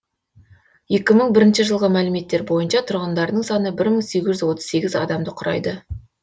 екі мың бірінші жылғы мәліметтер бойынша тұрғындарының саны мың сегіз жүз отыз сегіз адамды құрайды